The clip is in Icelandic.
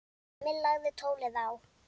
Emil lagði tólið á.